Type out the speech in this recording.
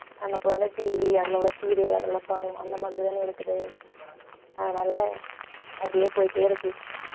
நமக்கு வந்து TV அதுல உள்ள serial அந்த மாதிரி தானே இருக்குது அதனால அப்படியே போயிட்டே இருக்கு